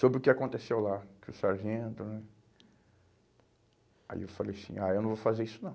Sobre o que aconteceu lá, que o sargento... Ãh, aí eu falei assim, ah, eu não vou fazer isso não.